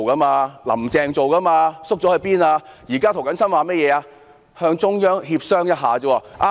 現在涂謹申議員只提出與中央協商一下而已。